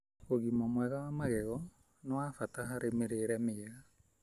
Ugima mwega wa magego nĩ wa bata harĩ mĩrĩire mĩega.